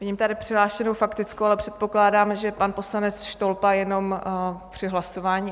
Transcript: Vidím tady přihlášenou faktickou, ale předpokládám, že pan poslanec Štolpa jenom při hlasování...